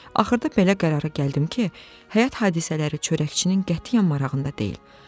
Axırda belə qərara gəldim ki, həyat hadisələri çörəkçinin qətiyyən marağında deyil.